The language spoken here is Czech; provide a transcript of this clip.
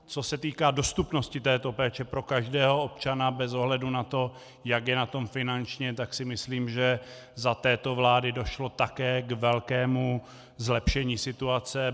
Co se týká dostupnosti této péče pro každého občana bez ohledu na to, jak je na tom finančně, tak si myslím, že za této vlády došlo také k velkému zlepšení situace.